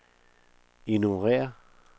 ignorér